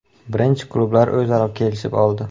Birinchi klublar o‘zaro kelishib oldi.